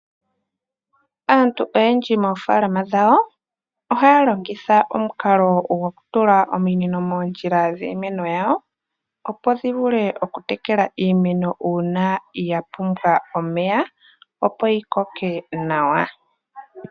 Aantu oyendji moofaalama dhawo ohaya longitha omukalo gwokutula ominino moondjila dhiimeno yawo opo dhi vule okutekela iimeno uuna yapumbwa omeya opo yi koke nawa.